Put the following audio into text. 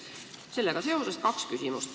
Sellega seoses on mul kaks küsimust.